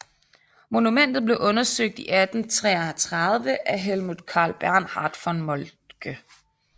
Monumentet blev undersøgt i 1837 af Helmuth Karl Bernhard von Moltke